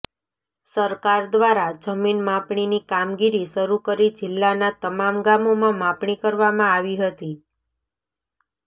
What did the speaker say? સરકાર દ્વારા જમીન માપણીની કામગીરી શરૂ કરી જિલ્લાના તમામ ગામોમાં માપણી કરવામાં આવી હતી